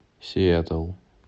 сиэтл